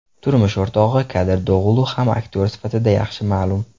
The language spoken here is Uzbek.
Turmush o‘rtog‘i Kadir Do‘gulu ham aktyor sifatida yaxshi ma’lum.